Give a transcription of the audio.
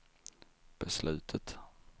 beslutet